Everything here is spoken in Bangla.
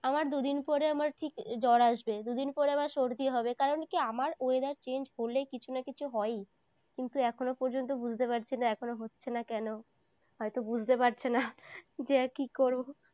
আমার দুদিন পরে আমার ঠিক জ্বর আসবে দুদিন পরে আবার সর্দি হবে কারণ কি আমার weather change হলে কিছু না কিছু হয়ই কিন্তু এখনো পর্যন্ত বুঝতে পারছি না এখনো হচ্ছে না কেন হয়তো বুঝতে পারছে না যে কি করব?